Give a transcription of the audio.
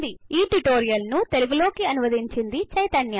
ఈ ట్యూటోరియల్ ను తెలుగు లోకి అనువదించింది చైతన్య